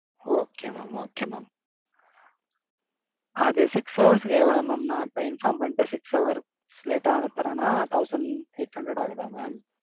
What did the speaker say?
Okay mam okay mam. அது six hours க்கு எவ்வளவு mam? நா இப்ப inform பன்னிட்டு six hours late ஆ வந்து தர்றேன்னா thousand eight hundred ஆகுதா mam?